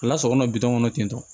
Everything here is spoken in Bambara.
A lasago bitɔn kɔnɔ ten tɔ